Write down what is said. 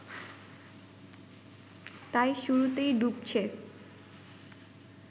তাই শুরুতেই ডুবছে